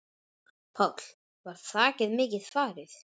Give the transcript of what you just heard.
Páll: Var þakið mikið farið?